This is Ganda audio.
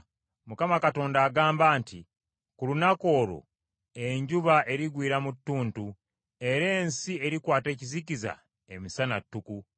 Mukama Katonda agamba nti, “Ku lunaku olwo, enjuba erigwiira mu ttuntu era ensi erikwata ekizikiza emisana ttuku.